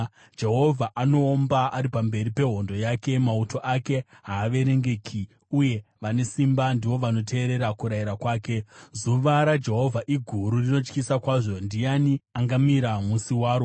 Jehovha anoomba, ari pamberi pehondo yake; mauto ake haaverengeki, uye vane simba ndivo vanoteerera kurayira kwake. Zuva raJehovha iguru; rinotyisa kwazvo. Ndiani angamira musi waro?